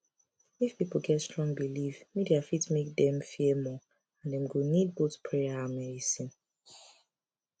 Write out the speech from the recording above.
if people get strong belief media fit make dem fear more and dem go need both prayer and medicine